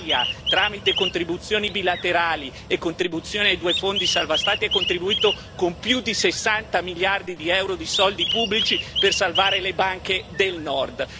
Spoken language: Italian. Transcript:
L'Italia, tramite contribuzioni bilaterali e contribuzioni ai due fondi salva Stati, ha contribuito con più di 60 miliardi di euro di soldi pubblici per salvare le banche del Nord.